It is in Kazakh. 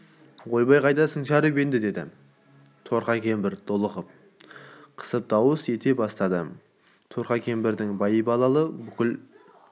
ойбай қайдасың шәріп деп енді торқа кемпір долылық қысып дауыс ете бастады торқа кемпірдің байбаламы бүкіл